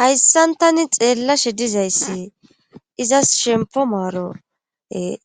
hayssan tani xeellashe dizayssi izas shempo maaro